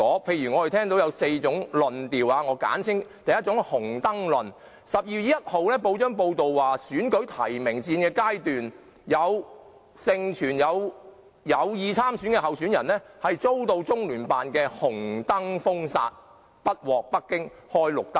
我們聽到有4種論調：第一是"紅燈論"；去年12月1日的報章報道，在選戰的提名階段，盛傳有意參選的候選人遭到中聯辦"紅燈"封殺，參選不獲北京開"綠燈"。